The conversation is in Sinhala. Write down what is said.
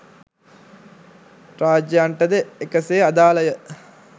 රාජ්‍යයන්ටද එකසේ අදාලය